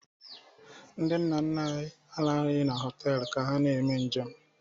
Nna nna anyị arahụghị na họtelụ ka ha na-eme njem.